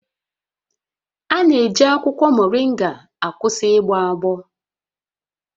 A na-eji akwụkwọ mọrịnga akwụsị ịgbọ agbọ